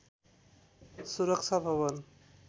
सुरक्षा भवन